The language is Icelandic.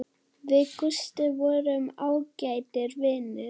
Við Gústi vorum ágætir vinir.